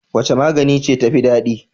Wace magana ce tafi daɗi?